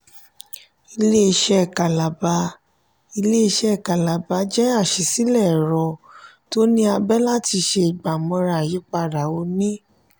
ilé-iṣé kalaba ilé-iṣé kalaba jẹ alásìíle ẹ̀rọ tó ní abé láti ṣe ìgbà-mọra àyípadà òní.